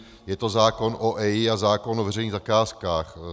Je to zákon o EIA a zákon o veřejných zakázkách.